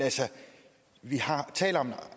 vi taler om